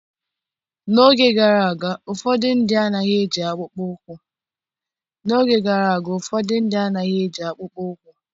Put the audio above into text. N'oge gara aga ụfọdụ ndị anaghị eji akpụkpọ ụkwụ